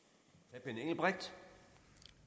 jeg